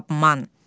Aman!